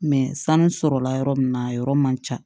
sanu sɔrɔla yɔrɔ min na a yɔrɔ man ca